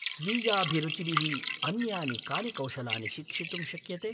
स्वीयाभिरुचिभिः अन्यानि कानि कौशलानि शिक्षितुं शक्यते?